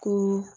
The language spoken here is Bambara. Ko